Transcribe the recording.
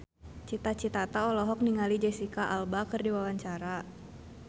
Cita Citata olohok ningali Jesicca Alba keur diwawancara